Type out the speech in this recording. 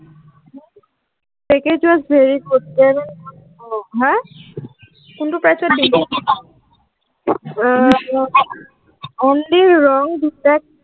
package was very হা, কোনটো price ত দিম, এৰ only wrong detect